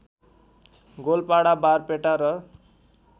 गोलपाडा बारपेटा र